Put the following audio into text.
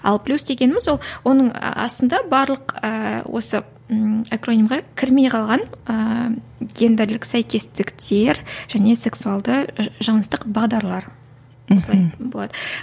ал плюс дегеніміз ол оның астында барлық ыыы осы кірмей қалған ііі гендірлік сәйкестіктер және сексуалды жыныстық бағдарлар мхм осылай болады